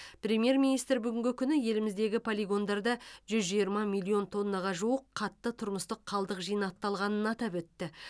премьер министр бүгінгі күні еліміздегі полигондарда жүз жиырма миллион тоннаға жуық қатты тұрмыстық қалдық жинақталғанын атап өтті